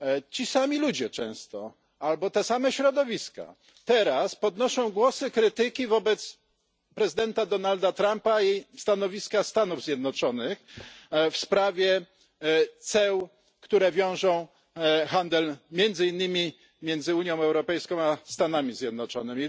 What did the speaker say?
Ci sami ludzie często, albo te same środowiska teraz podnoszą głosy krytyki wobec prezydenta Donalda Trumpa i stanowiska Stanów Zjednoczonych w sprawie ceł, które wiążą handel między innymi między Unią Europejską a Stanami Zjednoczonymi.